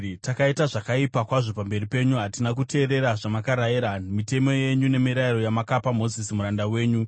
Takaita zvakaipa kwazvo pamberi penyu. Hatina kuteerera zvamakarayira, mitemo yenyu nemirayiro yamakapa Mozisi muranda wenyu.